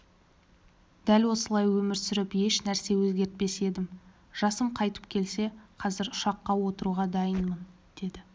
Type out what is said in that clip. дәл осылай өмір сүріп еш нәрсе өзгертпес едім жасым қайтып келсе қазір ұшаққа отыруға дайынмын деді